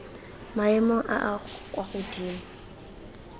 maemong a a kwa godimo